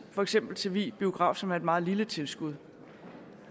for eksempel vig biograf som er et meget lille tilskud